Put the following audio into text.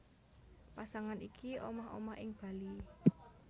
Pasangan iki omah omah ing Bali